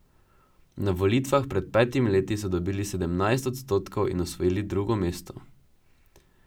Na volitvah pred petimi leti so dobili sedemnajst odstotkov in osvojili drugo mesto.